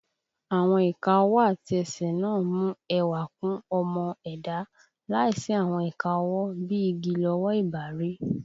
Àwọn ìka ọwọ́ àti ẹsẹ̀ náà mú ẹwà kún ọmọ ẹ̀dá, láìsí àwọn ìka ọwọ́, bí i igi lọwọ́ ì bá rí